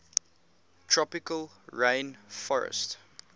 tropical rain forestt